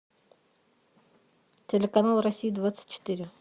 телеканал россия двадцать четыре